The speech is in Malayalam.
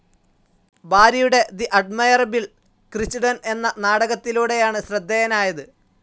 ബാരിയുടെ തെ അഡ്മയറബിൾ ക്രിച്ടൻ എന്ന നാടകത്തിലൂടെയാണ് ശ്രദ്ധേയനായത്.